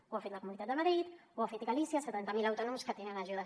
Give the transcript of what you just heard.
ho ha fet la comunitat de madrid ho ha fet galícia setanta mil autònoms que tenen ajudes